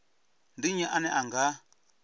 ndi nnyi ane a nga